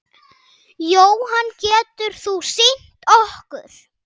Jóhann: Getur þú sýnt okkur?